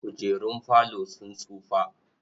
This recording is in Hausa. Kujerun falo sun tsufa.